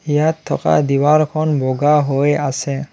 ইয়াত থকা বগা হৈ আছে।